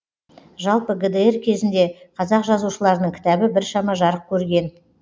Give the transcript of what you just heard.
жалпы гдр кезінде қазақ жазушыларының кітабы біршама жарық көрген